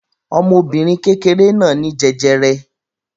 Ọmọbìnrin kékeré náà ní jẹjẹrẹ.